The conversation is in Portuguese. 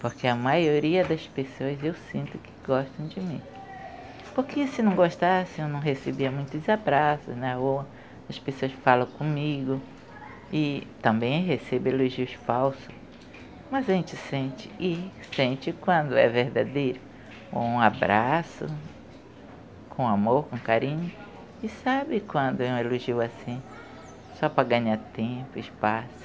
porque a maioria das pessoas eu sinto que gostam de mim porque se não gostasse eu não recebia muitos abraços ou as pessoas falam comigo e também recebo elogios falsos mas a gente sente e sente quando é verdadeiro um abraço com amor, com carinho e sabe quando é um elogio assim só para ganhar tempo, espaço